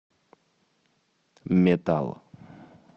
метал